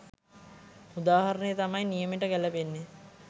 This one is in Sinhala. උදාහරණය තමයි නියමෙට ගැලපෙන්නේ.